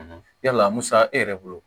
yala musa e yɛrɛ bolo